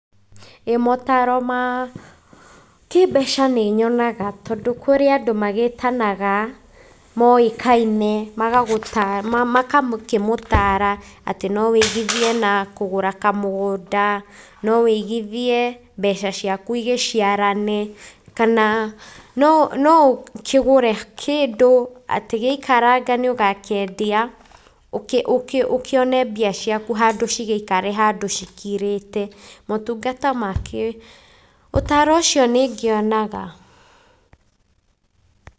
ĩĩ motaro ma, kĩmbeca nĩ nyonaga tondũ kũrĩ andũ magĩtanaga, moĩkaine, magakĩmũtara, atĩ no wigĩthie na kugũra kamũgũnda, no wigithie, mbeca ciaku igĩciarane, kana no no ũkĩgũre kĩndũ, atĩ gĩaikaraga atĩ nĩ ũgakĩendia, ũkĩ ũkĩ ũkĩone mbia ciaku handũ cigĩikare handũ cikirĩte motungata makĩo, ũtaro ũcio nĩ ngĩonaga.